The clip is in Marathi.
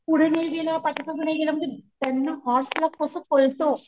पुढे नाही गेला पाठीमागे नाही गेला म्हणजे त्यांना हॉर्स ला कस कळत,